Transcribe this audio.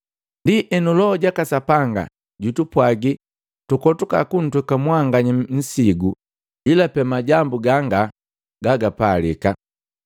Ndienu, Loho jaka Sapanga jutupwaagi tukotoka kuntweka mwanganya nsigu ila pe majambu ganga gagapalika: